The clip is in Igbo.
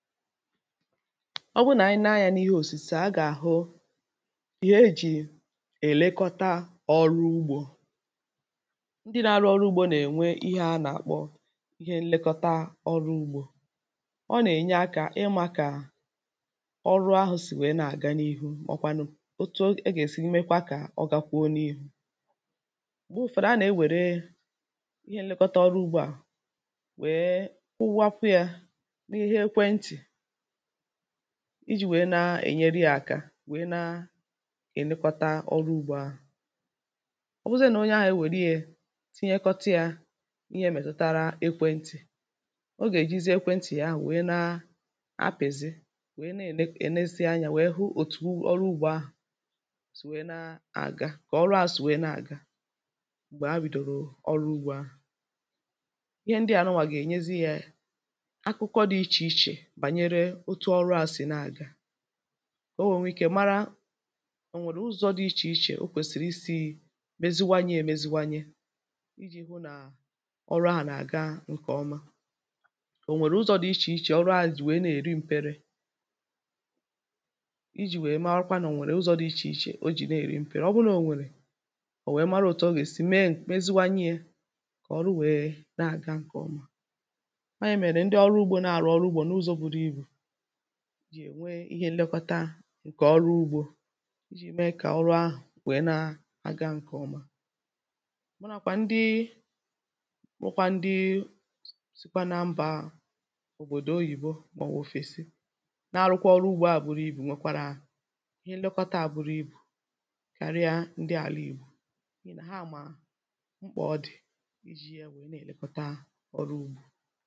ọ bụrụ na ànyị naa anyȧ n’ihe òsìchè a gà-àhụ ihe ejì èlekọta ọrụ ugbȯ ndị nȧ-arụ ọrụ ugbȯ nà-ènwe ihe a nà-àkpọ ihe nlekọta ọrụ ugbȯ ọ nà-ènye akȧ ị màkà ọrụ ahụ̇ sì nwèe nà-àga n’ihu màọkwanụ̇ otu ọ ị gà-èsi imekwa kà ọ ga kwa onyeihu ùgbu ụ̀fèrè a nà-ewère ihe nlekọta ọrụ ugbȯ à nwèe ụwa pu yȧ iji̇ nwèe na-ènyere yȧ àkà nwèe na-ènịkọta ọrụ ugbȯ ahụ̀ ọbụzịȧ nà onye ahụ̀ ewèliė tinyekọta yȧ ihė mètụtara ekwentị̀ o gà-èjizi ekwentị ahụ̀ nwèe na-apị̀zị nwèe na-ènese anyȧ nwèe hụ òtù ọrụ ugbȯ ahụ̀ sụ̀ nwèe na-àga kà ọrụ àsụ nwèe na-àga m̀gbè ha bìdòrò ọrụ ugbȯ ahụ̀ ihe ndịà nụnwà gà-ènyezi yȧ yȧ ọ nwèrè uzȯ dị ichè ichè, o kwèsìrì isi̇i̇ meziwanye meziwanye iji̇ hụ nà ọrụ ahụ̀ nà-àga ǹkè ọma ò nwèrè uzȯ dị ichè ichè, orụ ȧhụ̇ dị̀ wee na-èri m̀pere ijì wee marakwanụ̀ nà ò nwèrè uzȯ dị̀ ichè ichè, o jì na-èri m̀pere, ọ bụrụ nà o nwèrè ò wee mara òtù ọ gà-èsi mee meziwanye ye kà ọrụ wee nà-àga ǹkè ọma jì ènwe ihe nlekọta ǹkè ọrụ ugbȯ iji mee kà ọrụ ahụ̀ nwèe na-aga ǹkè ọma mụrụ àkwà ndị rụkwa ndị sikwa na mbà òbòdò oyìbo mà ọ̀bụ̀ òfèsi na-arụkwa ọrụ ugbȯ a bụrụ ibù nwekwàrà ihe nlekọta a bụrụ ibù karịa ndị àlà ìgbù ha àmà mkpà ọ dị̀ iji̇ ya nwèe na-èlekọta ọrụ ugbȯ